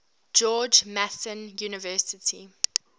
george mason university